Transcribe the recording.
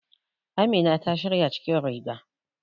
Amina ta shirya cikin riga.